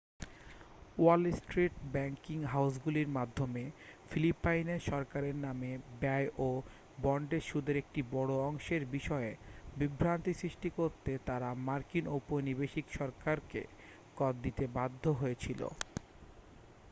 ওয়াল Street banking হাউসগুলির মাধ্যমে ফিলিপাইনের সরকারের নামে ব্যয় ও বন্ডের সুদের একটি বড় অংশের বিষয়ে বিভ্রান্তি সৃষ্টি করতে তারা মার্কিন ঔপনিবেশিক সরকারকে কর দিতে বাধ্য হয়েছিল